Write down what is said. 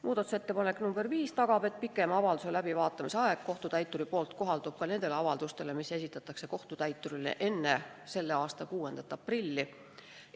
Muudatusettepanek nr 5 tagab, et kohtutäiturile võimaldatav pikem avalduse läbivaatamise aeg kohaldub ka nendele avaldustele, mis esitatakse kohtutäiturile enne k.a 6. aprilli.